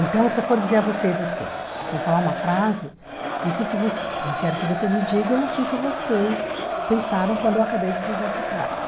Então, se eu for dizer a vocês assim, vou falar uma frase e o que que você e quero que vocês me digam o que que vocês pensaram quando eu acabei de dizer essa frase.